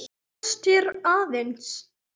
Kynnast þér aðeins.